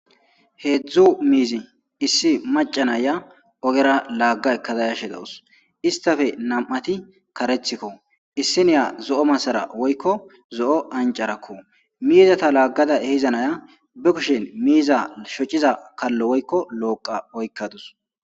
Heedzdzu miizi issi macanaya ogera laagga ekkada yashe dawus istafe nam7ati karethikko issiniya zo7o masara woykko zo7o ancarakko miizata laaggada ehizanaya be kushin miiza shociza kallo woykko looqa oykkadus.